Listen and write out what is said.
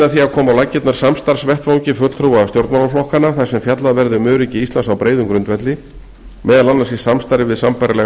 að koma á laggirnar samstarfsvettvangi fulltrúa stjórnmálaflokkanna þar sem fjallað verði um öryggi íslands á breiðum grundvelli meðal annars í samstarfi við sambærilega